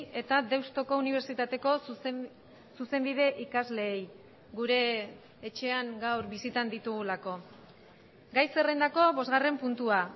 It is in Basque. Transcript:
eta deustoko unibertsitateko zuzenbide ikasleei gure etxean gaur bisitan ditugulako gai zerrendako bosgarren puntua